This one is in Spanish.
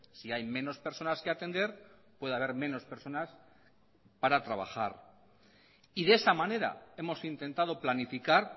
si hay menos personas que atender puede haber menos personas para trabajar y de esa manera hemos intentado planificar